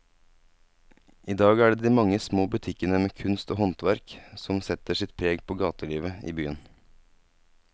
I dag er det de mange små butikkene med kunst og håndverk som setter sitt preg på gatelivet i byen.